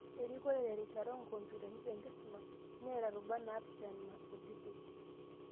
Erikore terishata okumpyutani tenkisuma neeta rubat 7 naapishana kutitik.